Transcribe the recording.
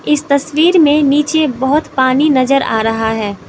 इस तस्वीर में नीचे बहोत पानी नजर आ रहा हैं।